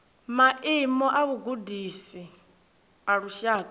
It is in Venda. maimo a vhugudisi a lushaka